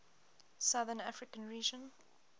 southern african region